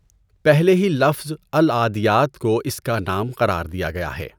پہلے ہی لفظ "العٰدیٰت" کو اس کا نام قرار دیا گیا ہے۔